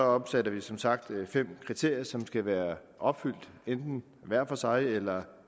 opsætter vi som sagt fem kriterier som skal være opfyldt enten hver for sig eller